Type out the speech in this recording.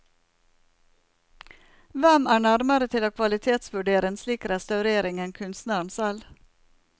Hvem er nærmere til å kvalitetsvurdere en slik restaurering enn kunstneren selv?